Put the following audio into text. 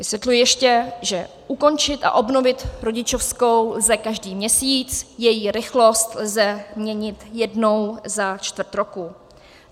Vysvětluji ještě, že ukončit a obnovit rodičovskou lze každý měsíc, její rychlost lze měnit jednou za čtvrt roku.